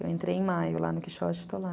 Eu entrei em maio lá no Quixote e estou lá.